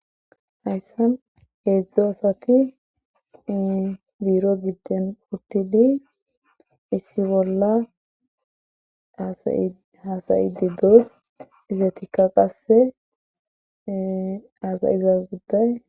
Hayssa heedzdzo asati biiro gidden uttidi issi bolla hasayidi does izetikka qasse asayiza gudday.